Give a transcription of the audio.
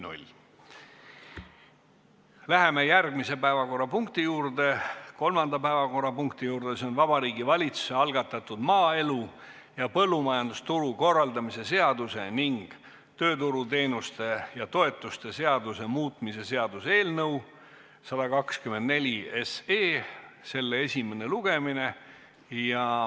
Läheme järgmise, kolmanda päevakorrapunkti juurde, s.o Vabariigi Valitsuse algatatud maaelu ja põllumajandusturu korraldamise seaduse ning tööturuteenuste ja -toetuste seaduse muutmise seaduse eelnõu 124 esimene lugemine.